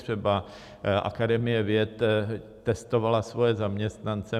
Třeba Akademie věd testovala svoje zaměstnance.